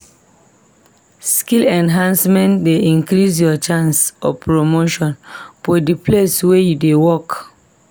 Skill enhancement dey increase ur chances of promotion for de place wey u dey work.